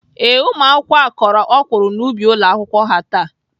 Ee, ụmụakwụkwọ ahụ kọrọ ọkwụrụ n'ubi ụlọakwụkwọ ha taa.